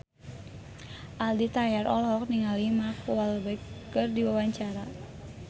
Aldi Taher olohok ningali Mark Walberg keur diwawancara